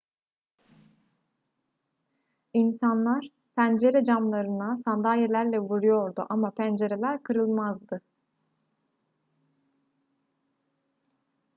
i̇nsanlar pencere camlarına sandalyelerle vuruyordu ama pencereler kırılmazdı